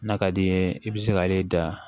N'a ka d'i ye i bɛ se k'ale da